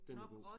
Den var god